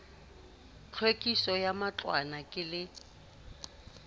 tlhwekiso ya matlwana ke le